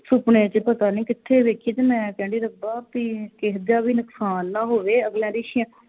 ਸੁਪਨੇ ਵਿਚ ਪਤਾ ਨਹੀ ਕਿਥੇ ਵੇਖੀ ਤੇ ਮੈਂ ਕਹਿੰਦੀ ਰੱਬਾ ਕਿਸੇ ਦਾ ਨੁਕਸਾਨ ਨਾ ਹੋਵੇ ਅਗਲਿਆਂ ਦੀ ਛੇਆਂ